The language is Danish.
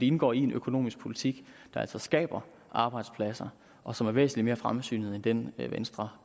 indgår i en økonomisk politik der altså skaber arbejdspladser og som er væsentlig mere fremsynet end den venstre